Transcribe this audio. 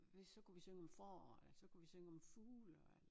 Vi så kunne vi synge om forår eller så kunne vi synge om fugle